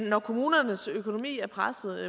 når kommunernes økonomi er presset